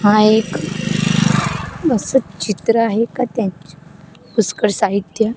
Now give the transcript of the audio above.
हा एक अस चित्र आहे का त्यांच्या पुष्कर साहित्य --